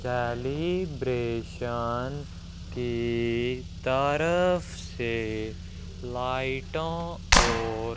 celebration की तरफ से लाइटों और--